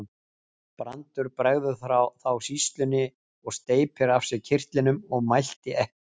Brandur bregður þá sýslunni og steypir af sér kyrtlinum og mælti ekki.